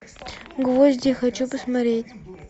гвозди хочу посмотреть